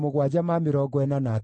na a Pashuri maarĩ 1,247,